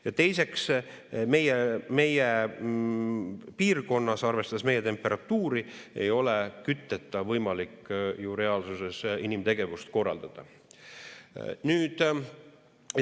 Ja teiseks, meie piirkonnas, arvestades meie temperatuuri, ei ole kütteta võimalik ju reaalsuses inimtegevust korraldada.